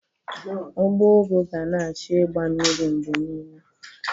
Ugbo ụgụ ga na-achọ ịgba mmiri mgbe niile